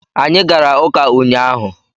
Anyị gara ụka ụnyaahụ